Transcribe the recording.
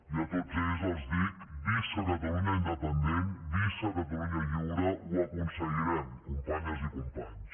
i a tots ells els dic visca catalunya independent visca catalunya lliure ho aconseguirem companyes i companys